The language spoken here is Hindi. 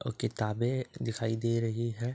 और किताबे दिखाई दे रही है ।